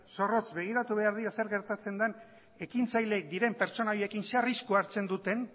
zorrotz begiratu behar dira zer gertatzen den ekintzaileek diren pertsona haiekin zer arriskua hartzen duten